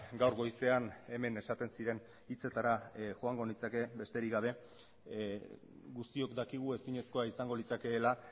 gaur goizean hemen esaten ziren hitzetara joango nintzake besterik gabe guztiok dakigu ezinezkoa izango litzakeela